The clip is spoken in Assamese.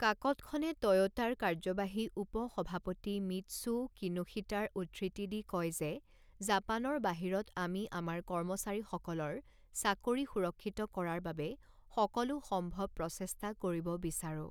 কাকতখনে টয়োটাৰ কাৰ্যবাহী উপ সভাপতি মিৎচুও কিনোশিতাৰ উদ্ধৃতি দি কয় যে জাপানৰ বাহিৰত আমি আমাৰ কৰ্মচাৰীসকলৰ চাকৰি সুৰক্ষিত কৰাৰ বাবে সকলো সম্ভৱ প্ৰচেষ্টা কৰিব বিচাৰো।